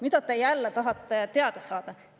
Mida te jälle tahate teada saada?